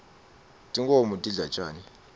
tinkhoms tidla tjani